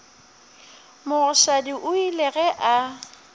mogoshadi o ile ge a